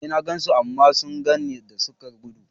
E, na gan su, amma suna gani na suka gudu.